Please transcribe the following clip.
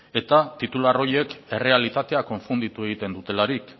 eta titular horiek errealitatea konfunditu egiten dutelarik